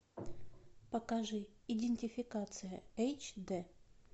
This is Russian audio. покажи идентификация эйч дэ